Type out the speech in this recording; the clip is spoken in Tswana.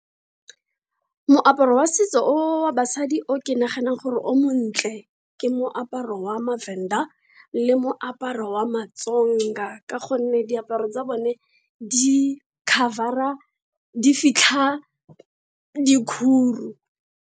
Moaparo wa setso wa basadi o ke naganang gore o montle, ke moaparo wa maVenda, le moaparo wa maTsonga. Ka gonne diaparo tsa bone di-cover-a dikhuru.